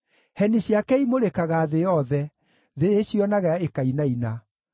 Heni ciake imũrĩkaga thĩ yothe; thĩ ĩcionaga ĩkainaina.